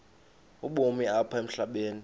ubomi apha emhlabeni